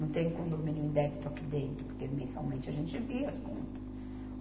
Não tem condomínio em débito aqui dentro, porque mensalmente a gente envia as contas.